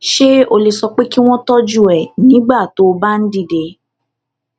ṣé o lè sọ pé kí wón tójú ẹ nígbà tó o bá ń dìde